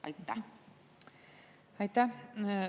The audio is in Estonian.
Aitäh!